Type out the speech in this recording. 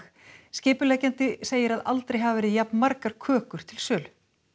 skipuleggjandi segir að aldrei hafi verið jafn margar kökur til sölu